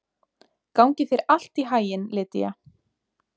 Gangi þér allt í haginn, Lýdía.